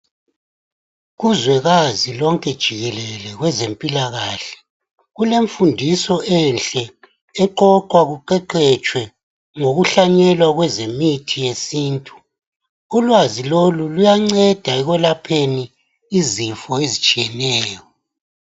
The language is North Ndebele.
Kuzwekazi lonke jikelele kwezempilakahle, kulemfundiso enhle, eqoqwa kuqeqetshwe ngokuhlanyelwa kwezemithi yesintu. Ulwazi lolu luyanceda ekwelapheni izifo ezitshiyeneyo.